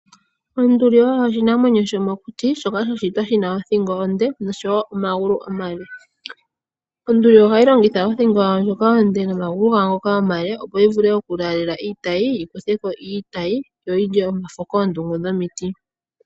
Onduli oyo oshinamwemyo shomokuti shoka sha shitwa shina othingo onde nosho wo omagulu omale. Onduli ohayi longitha othingo yayo ndjoka onde nomagulu gawo ngoka omale, opo yi vule oku laalela iitayi, yi kuthe ko iitayi, yo yi lye omafo koondungu dhomiti.